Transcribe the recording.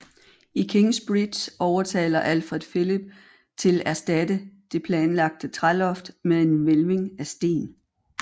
I Kingsbridge overtaler Alfred Phillip til erstatte det planlagte træloft med en hvælving af sten